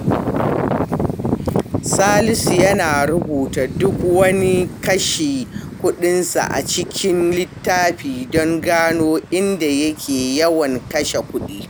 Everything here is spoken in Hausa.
Salisu yana rubuta duk wani kashe kudinsa a cikin littafi don gano inda yake yawan kashe kudi.